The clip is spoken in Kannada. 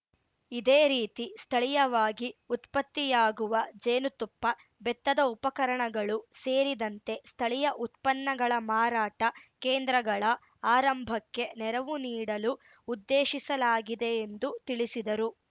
ಇದೇ ರೀತಿ ಸ್ಥಳೀಯವಾಗಿ ಉತ್ಪತ್ತಿಯಾಗುವ ಜೇನುತುಪ್ಪ ಬೆತ್ತದ ಉಪಕರಣಗಳು ಸೇರಿದಂತೆ ಸ್ಥಳೀಯ ಉತ್ಪನ್ನಗಳ ಮಾರಾಟ ಕೇಂದ್ರಗಳ ಆರಂಭಕ್ಕೆ ನೆರವು ನೀಡಲು ಉದ್ದೇಶಿಸಲಾಗಿದೆ ಎಂದು ತಿಳಿಸಿದರು